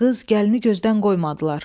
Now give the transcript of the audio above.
gəlini gözdən qoymadılar.